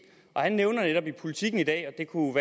han nævner netop i politiken i dag og det kunne